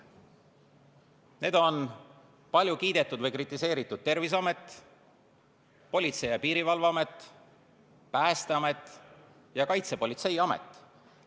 Need on palju kiidetud või kritiseeritud Terviseamet, Politsei- ja Piirivalveamet, Päästeamet ja Kaitsepolitseiamet.